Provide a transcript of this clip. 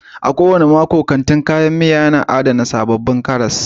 A kowane mako, kantin kayan miya yana adana sabbin karas